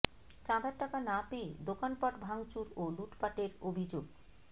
চাঁদার টাকা না পেয়ে দোকানপাট ভাংচুর ও লুটপাটের অভিযোগ